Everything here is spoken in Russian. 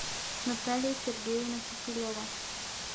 наталья сергеевна киселева